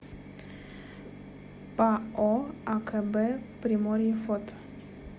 пао акб приморье фото